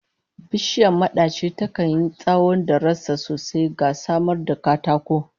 Bishiyar madaci takan yi tsawon da rassa sosai, ga samar da katako